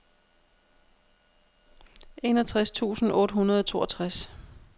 enogtres tusind otte hundrede og toogtres